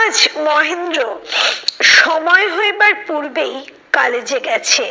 আজ মহেন্দ্র সময় হইবার পূর্বেই কালেজে গেছে।